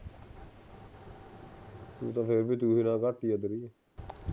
ਤੇਰਾ ਤਾਂ ਫਿਰ ਵੀ ਦੂਜੇ ਨਾਲ ਘੱਟ ਈ ਆ ਤੇਰੀ